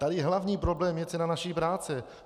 Tady hlavní problém je cena naší práce!